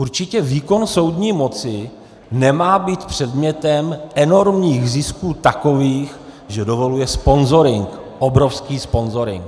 Určitě výkon soudní moci nemá být předmětem enormních zisků takových, že dovoluje sponzoring, obrovský sponzoring.